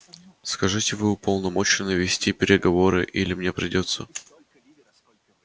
скажите вы уполномочены вести переговоры или мне придётся